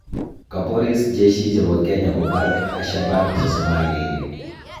Kaporis Jeshi chepo Kenya kopar Ashabaab 31